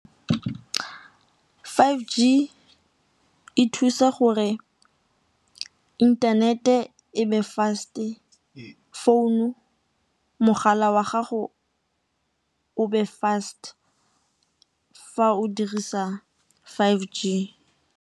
five G e thusa gore internet-e e be fast-e, mogala wa gago o be fast fa o dirisa five G.